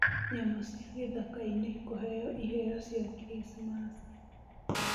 Nyamũcia gĩthakainĩ kũheo ĩheo cia kricimaci.